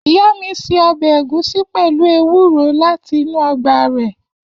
Iya mi se obe egusi pelu ewuro lati inu ogba re.